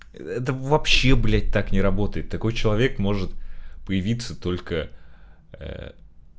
это вообще блядь так не работает такой человек может появиться только